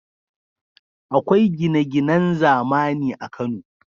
Akwai gine-ginan zamani a Kano.